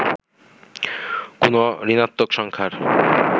কোন ঋণাত্নক সংখ্যার